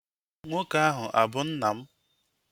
Nwoke ahụ abụ nna m?